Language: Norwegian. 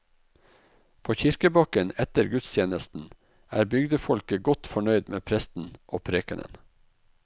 På kirkebakken etter gudstjenesten er bygdefolket godt fornøyd med presten og prekenen.